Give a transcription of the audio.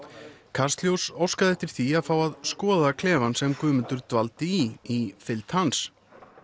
kastljós óskaði eftir því að fá að skoða klefann sem Guðmundur dvaldi í í fylgd hans